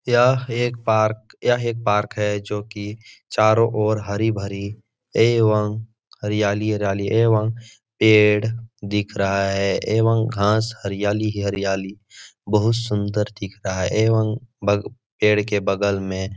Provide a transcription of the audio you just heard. यह एक पार्क यह एक पार्क है जो कि चारों ओर हरी-भरी एवं हरियाली-हरियाली एवं पेड़ दिख रहा है एवं घास हरियाली ही हरियाली बहुत सुन्दर दिख रहा है एवं बग पेड़ के बगल में --